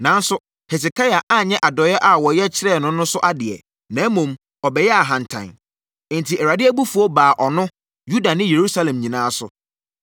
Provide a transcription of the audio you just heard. Nanso, Hesekia anyɛ adɔeɛ a wɔyɛ kyerɛɛ no no so adeɛ, na mmom, ɔbɛyɛɛ ahantan. Enti, Awurade abufuo baa ɔno, Yuda ne Yerusalem nyinaa so.